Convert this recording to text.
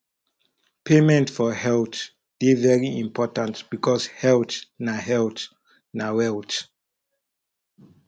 payment for health de very important because health na health na wealth